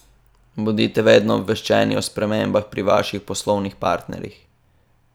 Bodite vedno obveščeni, o spremembah pri vaših poslovnih partnerjih.